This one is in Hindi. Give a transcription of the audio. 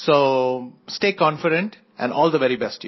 so stay confident and all the very best to you